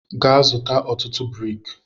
Gaa zụta ọtụtụ brik!